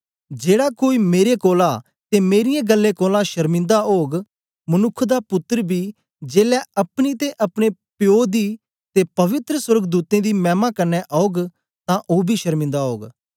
जेड़ा कोई मेरे कोलां ते मेरीयें ग्ल्लें कोलां शरमिन्दा ओग मनुक्ख दा पुत्तर बी जेलै अपनी ते अपने प्पो दी ते पवित्र सोर्गदूतें दी मैमा कन्ने औग तां ओ बी शरमिन्दा ओग